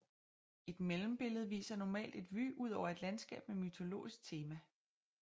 Et mellembillede viser normalt et vue ud over et landskab med mytologisk tema